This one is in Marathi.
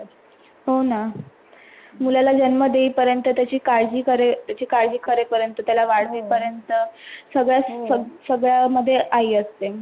हो ना, मुलाला जन्म देई पर्यंत, त्याचि काळजी करे पर्यंत, त्याला वाढवे पर्यंत सगळ्यामध्ये आई असते.